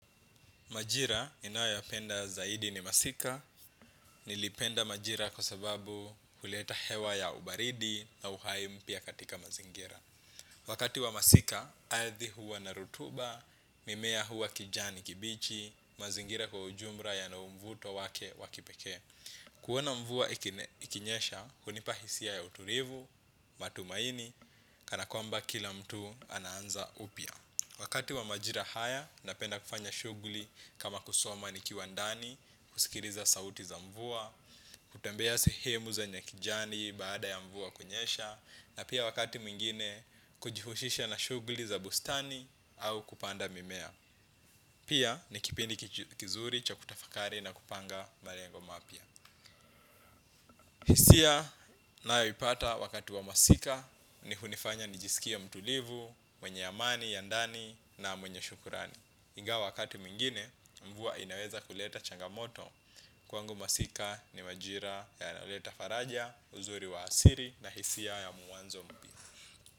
Majira ninayo yapenda zaidi ni masika, nilipenda majira kwa sababu huleta hewa ya ubaridi na uhai mpya katika mazingira. Wakati wa masika, ardhi huwa na rotuba, mimea huwa kijani kibichi, mazingira kwa ujumla yana mvuto wake wakipekee. Kuoana mvua ikinyesha, hunipa hisia ya utulivu, matumaini, kana kwamba kila mtu anaanza upia. Wakati wa majira haya, napenda kufanya shughuli kama kusoma nikiwa ndani, kusikiliza sauti za mvua, kutembea sehemu zenye kijani baada ya mvua kunyesha, na pia wakati mwingine, kujihushisha na shughuli za bustani au kupanda mimea. Pia, ni kipindi kizuri cha kutafakari na kupanga malengo mapya. Hisia ninayoipata wakati wa masika ni hunifanya nijisikie mtulivu, mwenye amani, ya ndani na mwenye shukrani. Ingawa wakati mwingine mvua inaweza kuleta changamoto kwangu masika ni majira yanaoleta faraja uzuri wa asili na hisia ya mwanzo mpya.